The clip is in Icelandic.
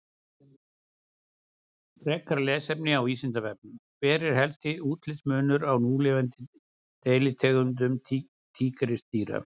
Frekara lesefni á Vísindavefnum: Hver er helsti útlitsmunur á núlifandi deilitegundum tígrisdýra?